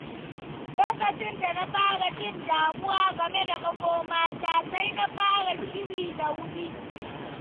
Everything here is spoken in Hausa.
Lokacin da na fara jin damuwa game da makomata, sai na fara shiri da wuri.